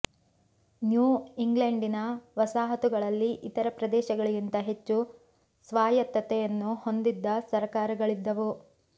new ಇಂಗ್ಲೆಂಡಿನ ವಸಾಹತುಗಳಲ್ಲಿ ಇತರ ಪ್ರದೇಶಗಳಿಗಿಂತ ಹೆಚ್ಚು ಸ್ವಾಯತ್ತತೆಯನ್ನು ಹೊಂದಿದ್ದ ಸರಕಾರಗಳಿದ್ದವು